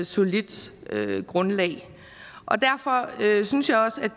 solidt grundlag og derfor synes jeg også